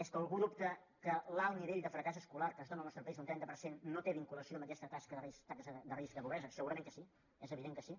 és que algú dubta que l’alt nivell de fracàs escolar que es dóna al nostre país un trenta per cent no té vinculació amb aquesta taxa de risc de pobresa segurament que sí és evident que sí